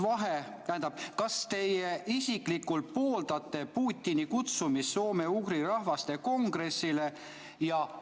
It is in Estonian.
Kas teie isiklikult pooldate Putini kutsumist soome‑ugri rahvaste kongressile?